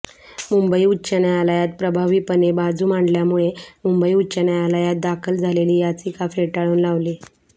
मुंबई उच्च न्यायालयात प्रभावीपणे बाजू मांडल्यामुळे मुंबई उच्च न्यायालयात दाखल झालेली याचिका फेटाळून लावली